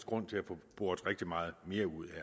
grund til at få boret rigtig meget mere ud